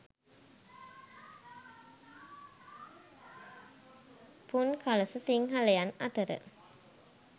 පුන්කළස සිංහලයන් අතර